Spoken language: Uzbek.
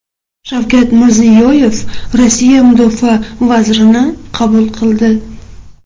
Shavkat Mirziyoyev Rossiya mudofaa vazirini qabul qildi.